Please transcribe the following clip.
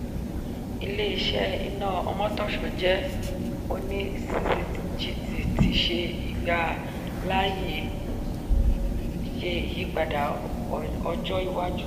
ilé-iṣẹ́ iná omotosho jẹ oní ccgt ti ṣe ìgbà láàyè ṣe iyípadà ọjọ iwájú.